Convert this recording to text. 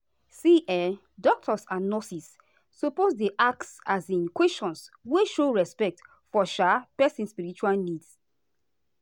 see[um]doctors and nurses suppose dey ask um questions wey show respect for um person spiritual needs.